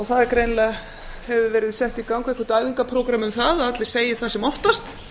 það greinilega hefur verið sett í gang eitthvert æfingaprógramm um það að allir segi það sem oftast